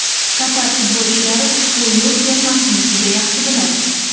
Qatar futbolchilari ushbu yurt termasini juda yaxshi biladi.